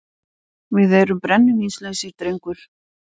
Við erum brennivínslausir, drengur.